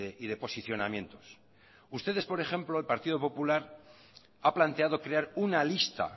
y de posicionamientos ustedes por ejemplo el partido popular ha planteado crear una lista